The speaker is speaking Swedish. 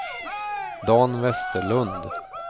Dan Vesterlund